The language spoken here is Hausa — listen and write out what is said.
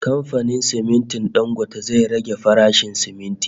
Kamfanin simintin Dangote zai rage farashin siminti